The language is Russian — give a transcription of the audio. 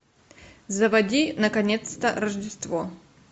заводи наконец то рождество